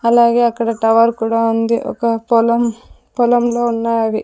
అలాగే అక్కడ టవర్ కూడా ఉంది ఒక పొలం పొల్లంలో ఉన్నావి.